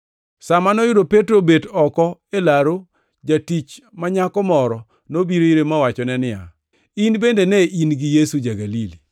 Sa ma noyudo Petro obet oko e laru, jatich ma nyako moro nobiro ire mowachone niya, “In bende ne in gi Yesu ja-Galili.”